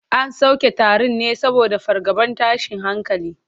An soke taron ne saboda fargabar tashin hankali.